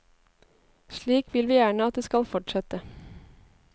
Slik vil vi gjerne at det skal fortsette.